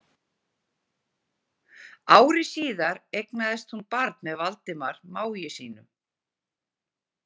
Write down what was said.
Ári síðar eignaðist hún barn með Valdimar mági sínum.